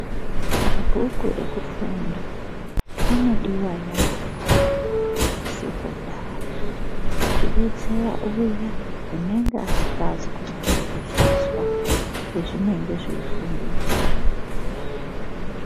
Mabhuku ekufunda anodiwa yaamho kusekondari kubetsera uya anenge asikazi kunyatso kuzvizwa pazvinenge zveifundiswa.